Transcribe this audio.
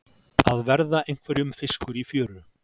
Að verða einhverjum fiskur í fjöru